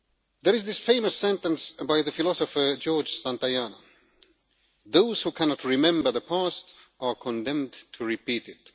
There is this famous sentence by the philosopher George Santayana Those who cannot remember the past are condemned to repeat it'.